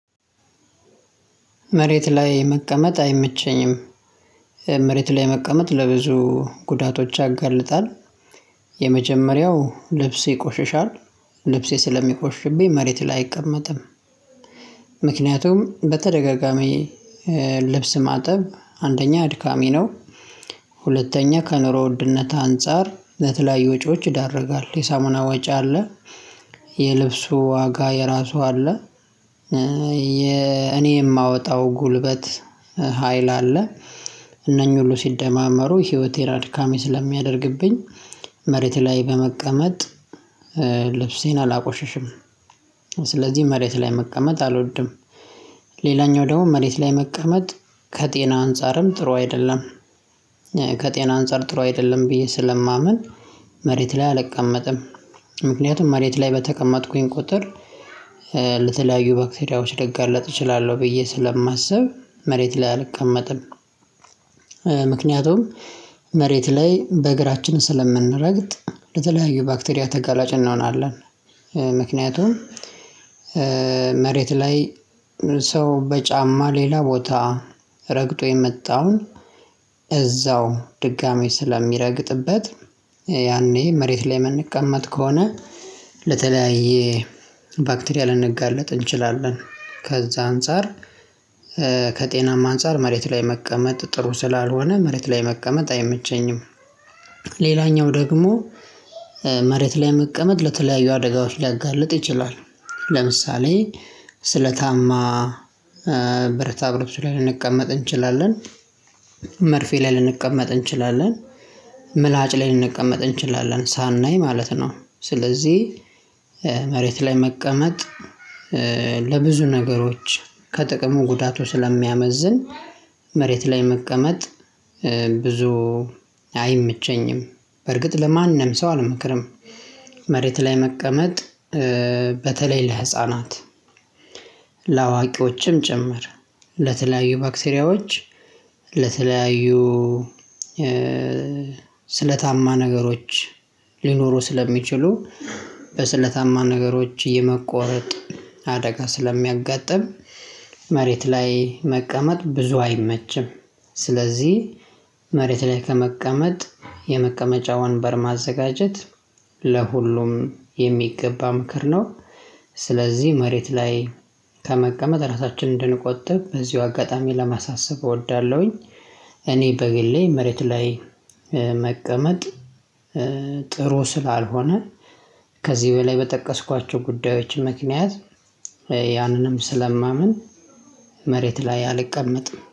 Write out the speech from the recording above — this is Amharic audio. መሬት ላይ መቀመጥ አይመቸኝም። መሬት ላይ መቀመጥ ለብዙ ጉዳቶች ያጋልጣል። የመጀመሪያው ልብስ ይቆሽሻል ልብሴ ስለሚቆሽብኝ መሬት ላይ አይቀመጥም። ምክንያቱም በተደጋጋሚ ልብስ ማጠብ አድካሚ ነው። ሁለተኛ ከኑሮ ውድነት አንፃር ለትላይ ወጪዎች ይዳርጋል የሳሙና ወጪ አለ። የልብሱ ዋጋ የራሱ አለ። የኔ የማወጣው ጉልበት ሀይል አለ። እነኚህ ሁሉ ሲደማመሩ ህይወቴ ራድካሜ ስለሚያደርግብኝ መሬት ላይ በመቀመጥ ልብሴን አላቆሸሽም። መሬት ላይ መቀመጥ አልወድም። ሌላኛው ደግሞ መሬት ላይ መቀመጥ ከጤና አንፃርም ጥሩ አይደለም። ከጤና አንፃር ጥሩ አይደለም ብዬ ስለማምን መሬት ላይ አልቀመጥም። ምክንያቱም መሬት ላይ በተቀመጥኩኝ ቁጥር ለተለያዩ ባክቴሪያዎች ልጋለጥ እችላለሁ ብዬ ስለማስብ መሬት ላይ አልቀመጥም። ምክንያቱም መሬት ላይ በእግራችን ስለምንረግጥ ለተለያዩ ባክቴሪያ ተጋላጭ እናሆናለን። ምክንያቱም መሬት ላይ ሰው በጫማ ሌላ ቦታ ረግጦ የመጣውን እዛው ድጋሚ ስለሚረግጥበት ያኔ መሬት ላይ የምንቀመጥ ከሆነ ለተለያየ ባክቴሪያ ልንጋለጥ እንችላለን። ከዛ አንፃር ከጤናማ አንፃር መሬት ላይ መቀመጥ ጥሩ ስላልሆነ መሬት ላይ መቀመጥ አይመቸኝም። ደግሞ መሬት ላይ መቀመጥ ለተለያዩ አደጋዎች ሊያጋልጥ ይችላል። ለምሳሌ ስለታማ ብረታ ብረት ላይ ልንቀመጥ እንችላለን መርፌ ላይ ልንቀመጥ እንችላለን ምላጭ ላይ ልንቀመጥ እንችላለን ሳናይ ማለት ነው። ስለዚህ መሬት ላይ መቀመጥ ለብዙ ነገሮች ከጥቅሙ ጉዳቱ ስለሚያመዝን መሬት ላይ መቀመጥ ብዙ አይምቸኝም በርግጥ ለማንም ሰው አልመክርም። መሬት ላይ መቀመጥ በተለይ ለህፃናት ለአዋቂዎችም ጭምር ለተለያዩ ባክቴሪያዎች ለተለያዩ ስለታማ ነገሮች ሊኖሩ ስለሚችሉ በስለታማ ነገሮች የመቆረጥ አደጋ ስለሚያጋጥም መሬት ላይ መቀመጥ ብዙ አይመችም። ስለዚህ መሬት ላይ ከመቀመጥ የመቀመጫ ወንበር ማዘጋጀት ለሁሉም የሚገባ ምክር ነው። ስለዚህ መሬት ላይ ከመቀመጥ ራሳችንን እንድንቆጥብ እዚሁ አጋጣሚ ለማሳሰብ እወዳለሁኝ። እኔ በግሌ መሬት ላይ መቀመጥ ጥሩ ስላልሆነ ከዚህ በላይ በጠቀስኳቸው ጉዳዮች ምክንያት ያንንም ስለማምን ላይ አልቀመጥም